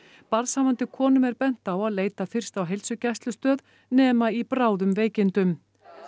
barnshafandi konum er bent á að leita fyrst á heilsugæslustöð nema í bráðum veikindum